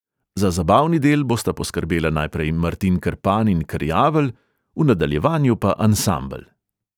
Za zabavni del bosta poskrbela najprej martin krpan in krjavelj, v nadaljevanju pa ansambel.